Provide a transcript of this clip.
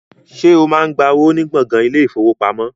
Ṣé o máa ń gba owó ní gbọ̀ngàn ilé-ìfowópamọ́?